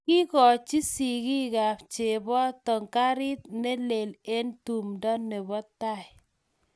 Kiikochi sigiikab cheboto gariit ne lel eng tumdo nebo tai.